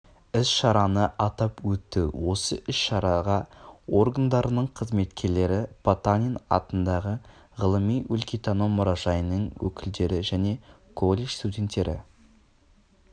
іс-шараны атап өтті осы іс-шараға органдарының қызметкерлері потанин атындағы ғылыми-өлкетану мұражайының өкілдері және колледж студенттері